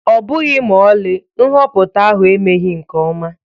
Ọbụghị ma ọlị, nhọpụta ahụ emeghị nke ọma